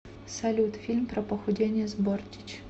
салют фильм про похудение с бортич